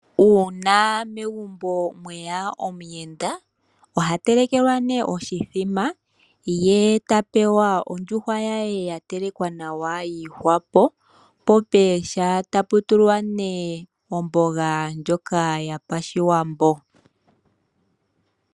Uuna megumbo mweya omuyenda ohatelekelwa oshithima yetapewa ondjuhwa ye yatelekwa nawa yiihwapo po pooha taputulwa neeh ombonga yopashiwambo.